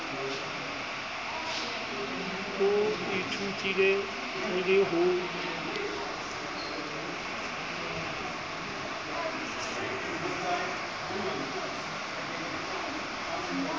o ithutile ho le ho